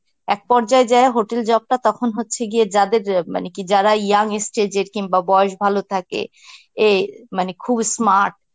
এক পর্যায়ে যারা hotel job টা তখন হচ্ছে গিয়ে যাদের অ্যাঁ মানে কি যারা young stage এর কিংবা বয়স ভালো থাকে এ কি মানে খুব smart